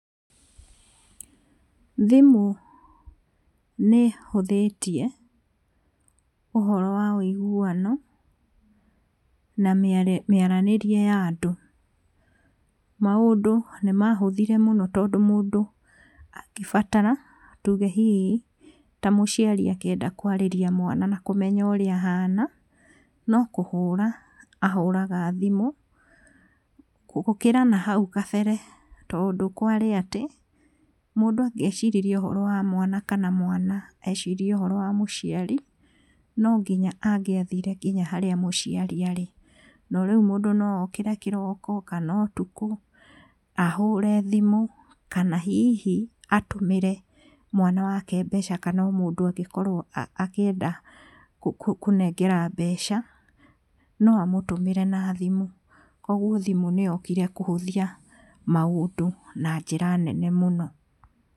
Thimũ nĩ ĩhũthĩtie ũhoro wa wũiguano na mĩaranĩrie ya andũ, maũndũ nĩ mahũthire mũno tondũ mũndũ angĩbatara tuge hihi ta mũciari angĩenda kwarĩria mwana na kũmenya ũrĩa ahana, no kũhũra ahũraga thimũ, gũkĩra nahau kabere tondũ kwarĩ atĩ mũndũ angĩeciririe ũhoro wa mwana kana mwana ecirie ũhoro wa mũciari, no nginya angĩathire nginya harĩa mũciari arĩ, no rĩu mũndũ no okĩre kĩroko kana ũtukũ, ahũre thimũ, kana hihi atũmĩre mwana wake mbeca kana o mũndũ angĩkorwo akĩenda kũnengera mbeca, no amũtũmĩre nathimũ, koguo thimũ nĩ yokire kũhũthia maũndũ na njĩra nene mũno.